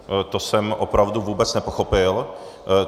To jsem opravdu vůbec nepochopil.